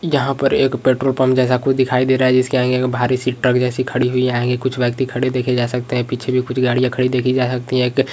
यहाँ पर एक पेट्रोल पम्प जैसा कुछ दिखाई दे रहा है जिस के आगे भारी सी ट्रक जैसा खड़ी हुई है आगे कुछ व्यक्ति खड़े देखे जा सकते हैं पीछे भी कुछ गाड़ियां खड़ी देखी जा सकती हैं एक --